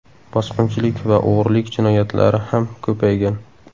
Bosqinchilik va o‘g‘rilik jinoyatlari ham ko‘paygan.